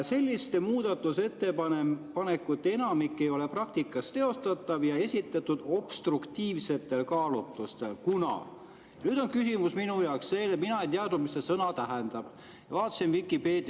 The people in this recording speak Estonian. "Selliste muudatusettepanekute enamik ei ole praktikas teostatav ja esitatud obstruktiivsetel kaalutlustel, kuna " Nüüd on küsimus minu jaoks see, et mina ei teadnud, mis see sõna tähendab.